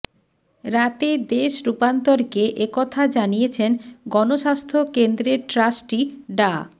রাতে দেশ রূপান্তরকে এ কথা জানিয়েছেন গণস্বাস্থ্য কেন্দ্রের ট্রাস্টি ডা